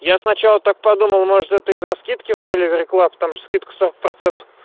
я сначала так подумала может это из-за скидки в деливери клаб томск скидка сто